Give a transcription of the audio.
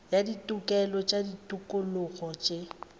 ya ditokelo le ditokologo tše